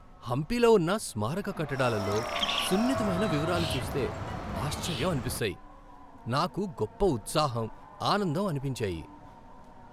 హంపీలో ఉన్న స్మారక కట్టడాలలో సున్నితమైన వివరాలు చూస్తే ఆశ్చర్యం అనిపిస్తాయి, నాకు గొప్ప ఉత్సాహం, ఆనందం అనిపించాయి.